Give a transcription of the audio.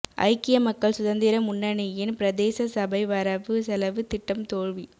ஐக்கிய மக்கள் சுதந்திர முன்னணியின் பிரதேச சபை வரவு செலவு திட்டம் தோல்வி